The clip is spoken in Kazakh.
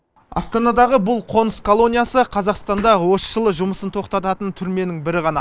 астанадағы бұл қоныс колониясы қазақстанда осы жылы жұмысын тоқтататын түрменің бірі ғана